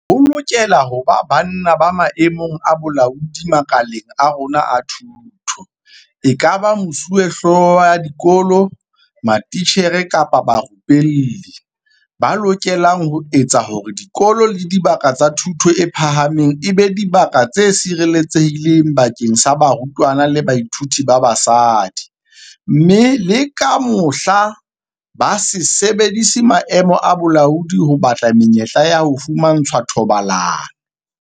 Ho lokela ho ba banna ba maemong a bolaodi makaleng a rona a thuto, ekaba mesuwehlooho ya dikolo, matitjhere kapa barupelli, ba lokelang ho etsa hore dikolo le dibaka tsa thuto e phahameng e be dibaka tse sireletsehileng bakeng sa barutwana le bathuiti ba basadi, mme le ka mohla, ba se sebedise maemo a bolaodi ho batla menyetla ya ho fumantshwa thobalano.